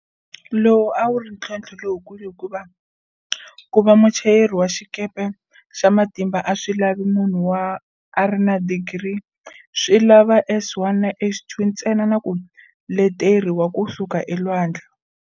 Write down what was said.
Lowu a ku ri ntlhontlho lowukulu hikuva ku va muchayeri wa xikepe xa matimba a swi lavi ku va munhu a ri na digiri, swi lava S1 na S2 ntsena na ku leteri wa ku suka elwandle.